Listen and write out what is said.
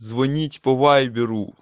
звонить по вайберу